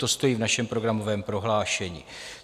To stojí v našem programovém prohlášení.